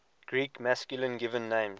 greek masculine given names